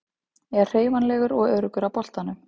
Er hreyfanlegur og öruggur á boltanum.